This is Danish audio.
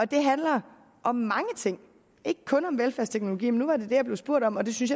det handler om mange ting ikke kun om velfærdsteknologi men nu var det det jeg blev spurgt om og det synes